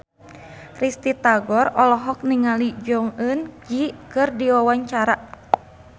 Risty Tagor olohok ningali Jong Eun Ji keur diwawancara